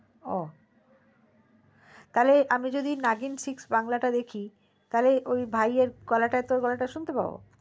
ও তালে আমি যদি নাগিন six বাংলাটা দেখি তালে ওই ভায়ের গলাটা তোর গলাটা শুনতে পাবো